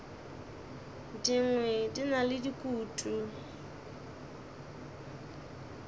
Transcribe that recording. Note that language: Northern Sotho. dingwe di na le dikutu